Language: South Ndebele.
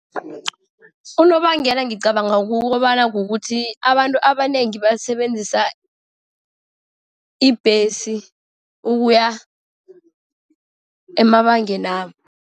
Unobangela ngicabanga kukobana kukuthi abantu abanengi basebenzisa ibhesi ukuya emabangeni wabo.